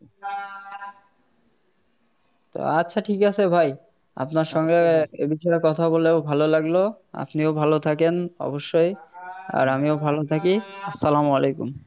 আচ্ছা ঠিক আছে ভাই আপনার সঙ্গে এই বিষয়ে কথা বলেও ভালো লাগলো আপনিও ভালো থাকেন অবশ্যই আর আমিও ভালো থাকি আসসালামু আলাইকুম